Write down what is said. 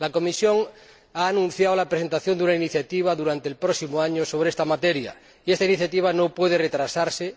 La Comisión ha anunciado la presentación de una iniciativa durante el próximo año sobre esta materia, y esta iniciativa no puede retrasarse.